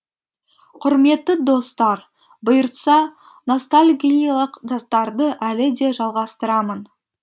құрметті достар бұйыртса ностальгиялық заттарды әлі де жалғастырамын